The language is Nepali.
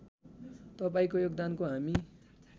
तपाईँको योगदानको हामी